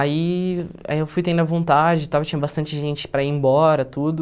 Aí aí eu fui tendo a vontade tal, tinha bastante gente para ir embora, tudo.